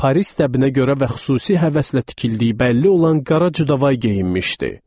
Paris təbinə görə və xüsusi həvəslə tikildiyi bəlli olan qara Cüd və Avay geyinmişdi.